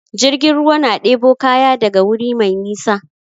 Jirgin ruwa na ɗebo kaya daga wuri mai nisa.